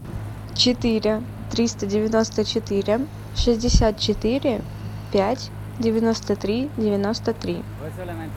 четыре триста девяносто четыре шестьдесят четыре пять девяносто три девяносто три